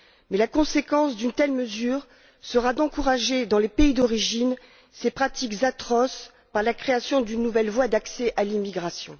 Mais la conséquence d'une telle mesure sera d'encourager, dans les pays d'origine, ces pratiques atroces par la création d'une nouvelle voie d'accès à l'immigration.